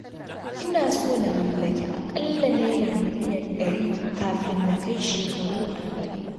Ina so na mallaki aƙalla naira miliyan ɗari kafin na kai shekaru arba'in.